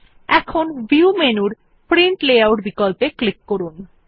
এখন ভিউ মেনুর print layout বিকল্পে ক্লিক করুন